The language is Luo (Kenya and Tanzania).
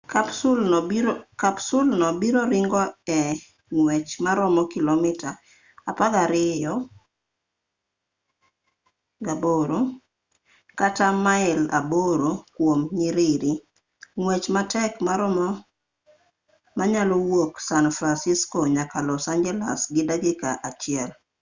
kapsul no biro ringo e ngwech maromo kilomita 12.8 kata mail 8 kuom nyiriri ng'wech matek moromo manyalo wuok san fransisco nyaka los angeles gi dakika achiel